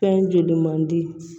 Fɛn joli mandi